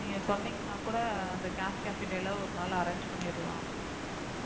நீங்க சொன்னீங்கன்னா கூட அந்த ஒரு நாள் arrange பண்ணிடலாம்